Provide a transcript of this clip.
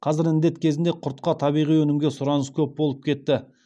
қазір індет кезінде құртқа табиғи өнімге сұраныс көп болып кетті